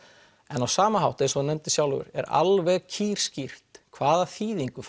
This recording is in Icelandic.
en á sama hátt eins og þú nefndir sjálfur er alveg kýrskýrt hvaða þýðingu